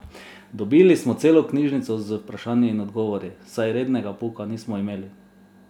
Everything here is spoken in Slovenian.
Dobili smo celo knjižico z vprašanji in odgovori, saj rednega pouka nismo imeli.